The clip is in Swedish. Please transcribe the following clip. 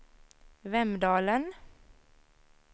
Vemdalen